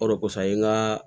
O de kosɔn an ye n ka